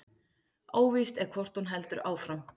Óvíst er hvort hún heldur áfram